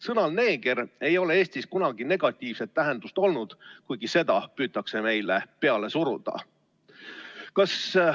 Sõnal "neeger" ei ole Eestis kunagi negatiivset tähendust olnud, kuigi seda püütakse meile peale suruda.